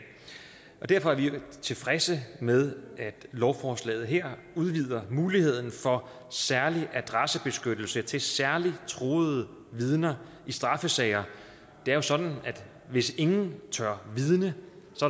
og derfor er vi tilfredse med at lovforslaget her udvider muligheden for særlig adressebeskyttelse til særlig truede vidner i straffesager det er jo sådan at hvis ingen tør vidne